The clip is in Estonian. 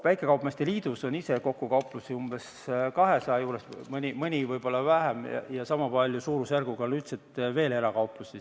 Väikekaupmeeste liidus on kauplusi kokku umbes 200, võib-olla mõni vähem, ja samas suurusjärgus on üldiselt veel erakauplusi.